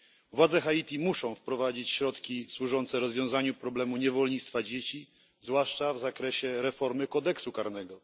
Władze Haiti muszą wprowadzić środki służące rozwiązaniu problemu niewolnictwa dzieci, zwłaszcza w ramach reformy kodeksu karnego.